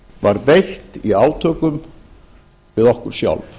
var beitt í átökum við okkur sjálf